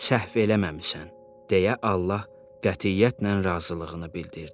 Səhv eləməmisən" deyə Allah qətiyyətlə razılığını bildirdi.